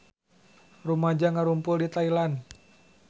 Rumaja ngarumpul di Thailand